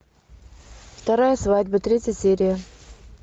вторая свадьба третья серия